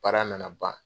Baara nana ban